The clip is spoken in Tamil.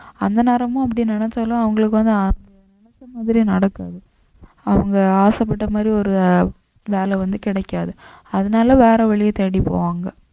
அந்த நேரமும் அப்படி நினைச்சாலும் அவங்களுக்கு வந்து அவங்க நெனச்ச மாதிரி நடக்காது அவங்க ஆசைப்பட்ட மாதிரி ஒரு வேலை வந்து கிடைக்காது அதனால வேற வழியை தேடி போவாங்க